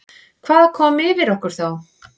Hvað kom yfir okkur þá?